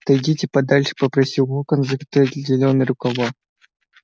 отойдите подальше попросил локонс закатывая зелёные рукава